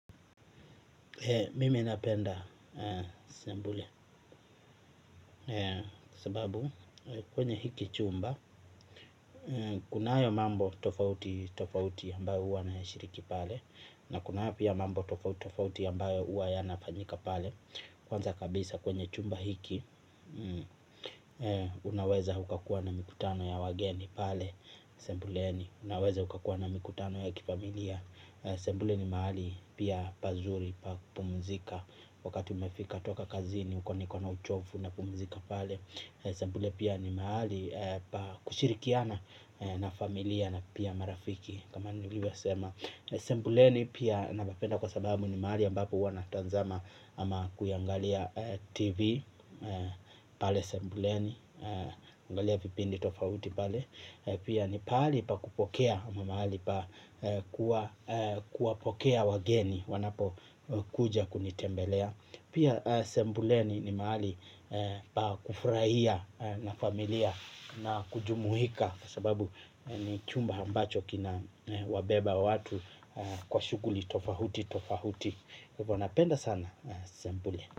Mimi napenda sembule kwa sababu kwenye hiki chumba, kunayo mambo tofauti tofauti ambayo huwa nayashiriki pale, na kunayo pia mambo tofauti tofauti ambayo huwa yanafanyika pale. Kwanza kabisa kwenye chumba hiki, unaweza ukakuwa na mikutano ya wageni pale, sebuleni unaweza ukakuwa na mikutano ya kifamilia. Sebule ni mahali pia pazuri, pa kupumzika, wakati umefika toka kazini, uko niko na uchovu unapumzika pale. Sebule pia ni mahali pa kushirikiana na familia na pia marafiki kama nilivyosema. Sebuleni pia napapenda kwa sababu ni mahali ambapo huwa natazama ama kuiangalia tv. Pale sebuleni, huangalia vipindi tofauti pale. Pia ni pahali pa kupokea ama mahali pa kuwa kuwapokea wageni wanapokuja kunitembelea. Pia sebuleni ni mahali pa kufurahia na familia na kujumuika kwa sababu ni chumba ambacho kinawabeba watu kwa shughuli tofauti tofauti kwa hivyo napenda sana sebule.